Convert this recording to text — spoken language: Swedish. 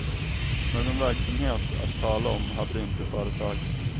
Någon verksamhet att tala om hade inte företaget.